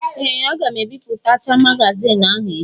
Ee! Aga m ebipụtacha magazioni ahụ echi.